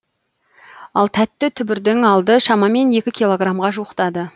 ал тәтті түбірдің алды шамамен екі килограмға жуықтады